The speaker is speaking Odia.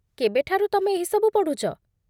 କେବେଠାରୁ ତମେ ଏହି ସବୁ ପଢୁଛ?